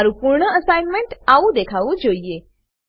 તમારું પૂર્ણ અસાઇનમેન્ટ આવું દેખાવું જોઈએ